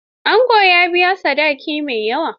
Angon ya biya sadaki mai yawa.